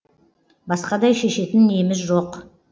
басқадай шешетін неміз жоқ